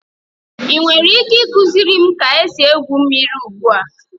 Ị nwere ike ịkụziri m ka esi egwu mmiri ugbu a?